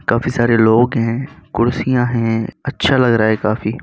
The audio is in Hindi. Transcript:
काफी सारे लोग है कुर्सियाँ है अच्छा लग रहा है काफी।